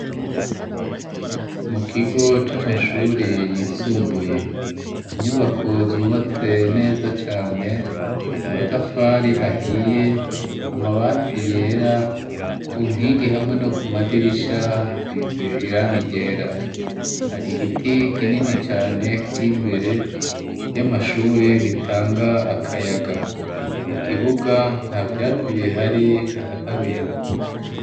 mu kigo c'amashuri yisumbuye, inyubako zubatse neza cane, amatafari ahiye, amabati yera ku nkingi hamwe no ku madirisha hasize irangi ryera, hari igiti kinini cane kiri imbere y'amashure gitanga akayaga, mu kibuga nta vyatsi bihari haraharuye.